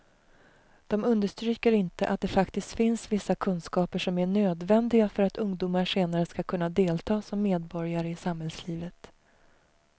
De understryker inte att det faktiskt finns vissa kunskaper som är nödvändiga för att ungdomar senare ska kunna delta som medborgare i samhällslivet.